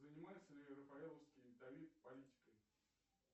занимается ли рафаэловский давид политикой